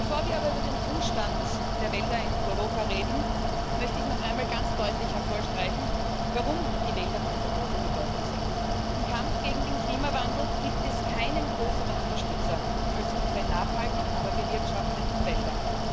Bevor wir aber über den Zustand der Wälder in Europa reden, möchte ich noch einmal ganz deutlich hervorstreichen, warum die Wälder von so großer Bedeutung sind. Im Kampf gegen den Klimawandel gibt es keinen größeren Unterstützer als unsere nachhaltigen, aber bewirtschafteten Wälder.